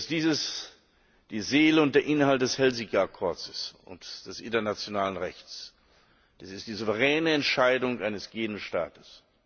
Dies die Seele und der Inhalt des Helsinki Abkommens und des internationalen Rechts, dies ist die souveräne Entscheidung eines jeden Staates.